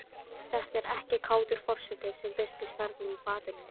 Þetta er ekki kátur forseti sem birtist þarna í fatinu.